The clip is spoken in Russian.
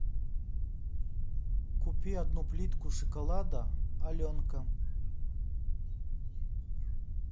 купи одну плитку шоколада аленка